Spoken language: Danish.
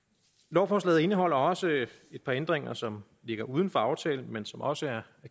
lovforslaget indeholder også et par ændringer som ligger uden for aftalen men som også er